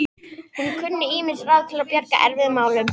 Hann kunni ýmis ráð til að bjarga erfiðum málum.